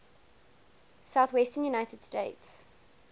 southwestern united states